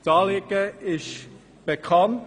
Das Anliegen ist bekannt.